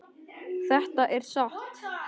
Þetta er satt.